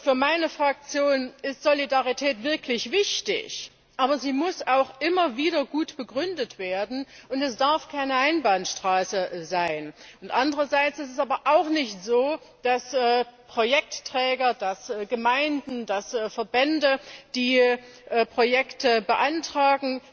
Für meine Fraktion ist Solidarität wirklich wichtig, aber sie muss auch immer wieder gut begründet werden, und es darf keine Einbahnstraße sein. Andererseits ist es aber auch nicht so, dass Projektträger, Gemeinden, Verbände, die Projekte beantragen,